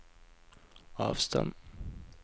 avstand